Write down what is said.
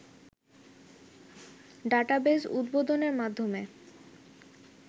database উদ্বোধনের মাধ্যমে